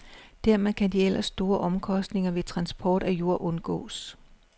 Dermed kan de ellers store omkostninger ved transport af jord undgås.